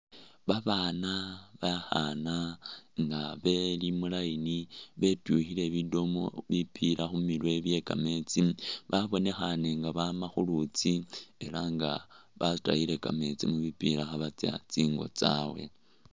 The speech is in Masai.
Babaana bakhaana nga bali mu line betyukhile bidomo bipiila khu murwe bye kameetsi babonekhaane nga bama khu luutsi ela nga batayile kameetsi mu bipila kha batsya tsingo tsyabwe.